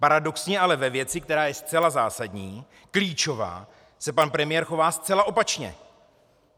Paradoxně ale ve věci, která je zcela zásadní, klíčová, se pan premiér chová zcela opačně.